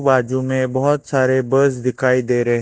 वाजू मे बहोत सारे बस दिखाई दे रहे--